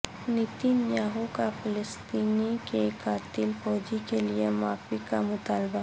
Nitin Yahoo کا فلسطینی کے قاتل فوجی کے لیے معافی کا مطالبہ